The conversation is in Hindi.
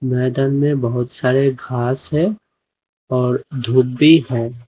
मैदान में बहुत सारे घास है और धूप भी है।